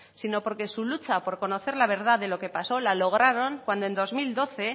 sino porque su lucha por conocer la verdad de lo que pasó la lograron cuando en dos mil doce